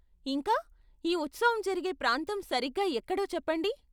ఇంకా, ఈ ఉత్సవం జరిగే ప్రాంతం సరిగ్గా ఎక్కడో చెప్పండి.